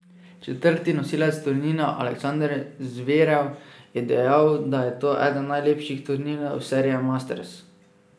Četrti nosilec turnirja Aleksander Zverev, je dejal, da je to eden najlepših turnirjev serije masters.